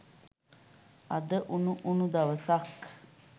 අද උණු උණු දවසක්.